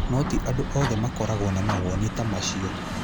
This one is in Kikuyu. No ti andũ othe makoragwo na mawoni ta macio.